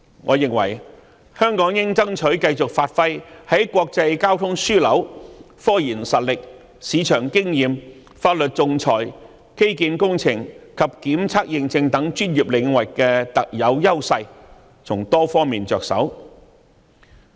我認為香港應爭取繼續發揮在國際交通樞紐、科研實力、市場經驗、法律仲裁、基建工程及檢測認證等專業領域的特有優勢，從多方面着手。